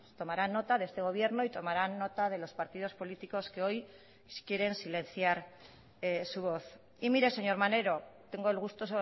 tomarán nota de este gobierno y tomarán nota de los partidos políticos que hoy quieren silenciar su voz y mire señor maneiro tengo el gusto